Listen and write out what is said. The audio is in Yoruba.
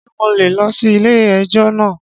Ṣé mo lè lọ sí ilé ẹjọ́ náà?